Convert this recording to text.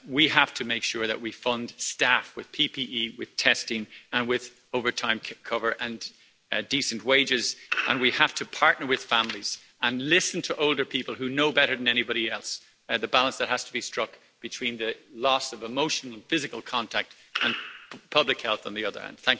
One, we have to make sure that we fund staff with PPE, with testing and with overtime cover and decent wages, and we have to partner with families and listen to older people who know better than anybody else the balance that has to be struck between the loss of emotional and physical contact, and public health on the other hand.